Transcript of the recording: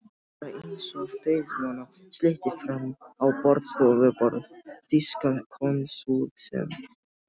Lá bara einsog dauðvona slytti fram á borðstofuborð þýska konsúlsins.